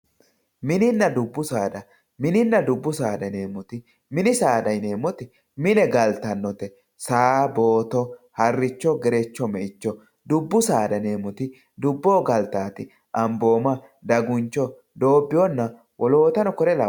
mininna dubbu saada mininna dubbu saada yineemoti mini saada yineemoti mine galtannote saa, booto, harricho, gerecho , me"icho dubbu saada yineemoti duboho galtaate ambooma, daguncho, doobiyoona wolootano kore labbano.